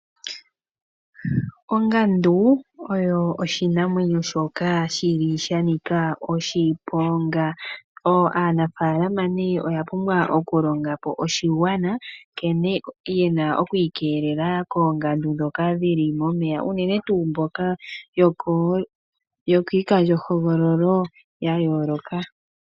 Ongandu oyo oshinamwenyo shoka shili sha nika oshiponga. Aanafalama nee oya pumbwa okulonga po oshigwana nkene yena oku ikeelela koongandu ndhoka dhili momeya uunene tuu mboka yo kiikandjohogololo yayooloka.